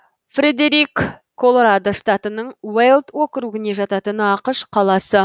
фредерик колорадо штатының уэлд округіне жататын ақш қаласы